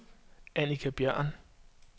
Annika Bjørn